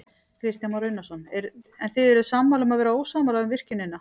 Kristján Már Unnarsson: En þið eruð sammála um að vera ósammála um virkjunina?